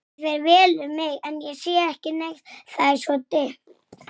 Svo var það laxinn!